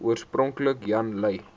oorspronklik jan lui